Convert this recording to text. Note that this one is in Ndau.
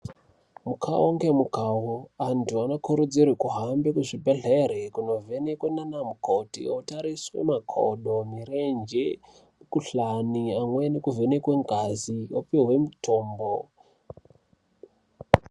Mukawo ngemukawo antu anokurudzirwe kuhambe kuzvibhedhlera kunovhenekwe nanamukoti, otariswe makodo, mirenje, mikhuhlane, amweni kuvhenekwe ngazi opiwe mitombo.